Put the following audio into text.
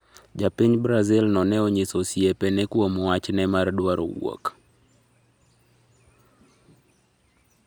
Japiny Brazil no ne onyiso osiepe ne kuom wachne mar dwaro wuok